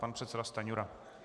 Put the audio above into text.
Pan předseda Stanjura.